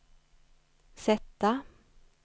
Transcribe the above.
sätta